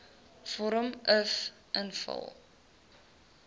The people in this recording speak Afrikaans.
vorm uf invul